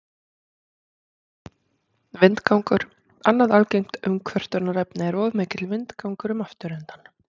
Vindgangur Annað algengt umkvörtunarefni er of mikill vindgangur um afturendann.